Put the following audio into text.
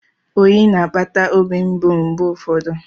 Oyi na-akpata obi mgbu mgbe ụfọdụ.